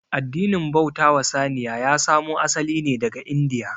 Addinin bauta wa saniya ya samo asali ne daga india